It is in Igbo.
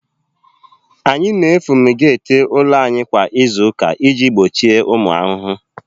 Anyị fumigeeti ụlọ anyị kwa izu ụka iji gbochie ụmụ ahụhụ